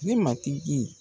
Ni matigi.